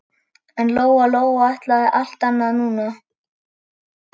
En Lóa-Lóa ætlaði allt annað núna.